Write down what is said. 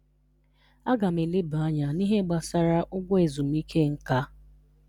A ga m eleba anya n'ihe gbasara ụgwọ ezumike nká.